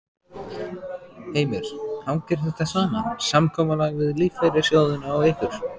Heimir: Hangir þetta saman, samkomulag við lífeyrissjóðina og ykkur?